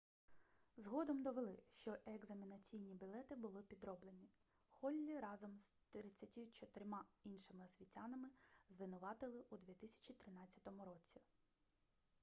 згодом довели що екзаменаційні білети були підроблені холлі разом з 34 іншими освітянами звинуватили у 2013 році